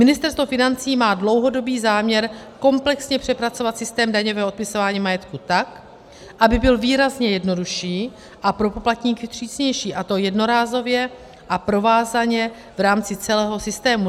Ministerstvo financí má dlouhodobý záměr komplexně přepracovat systém daňového odpisování majetku tak, aby byl výrazně jednodušší a pro poplatníky přísnější, a to jednorázově a provázaně v rámci celého systému.